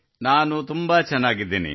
ನಾನು ತುಂಬಾ ಚೆನ್ನಾಗಿದ್ದೇನೆ